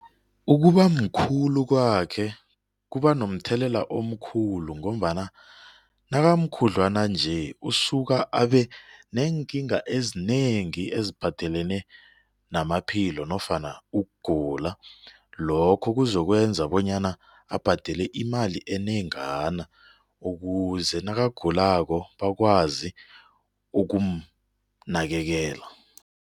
Ukuba mkhulu kwakhe kuba nomthelela omkhulu ngombana nakamkhudlwana nje usuka abe neenkinga ezinengi eziphathelene namaphilo nofana ukugula lokho kuzokwenza bonyana abhadele imali enengana ukuze nakagulako bakwazi ukumnakekela.